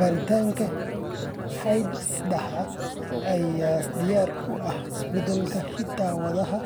Baaritaanka hidde-sidaha ayaa diyaar u ah isbeddellada hidda-wadaha